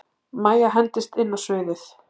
Mæja hendist inn á sviðið.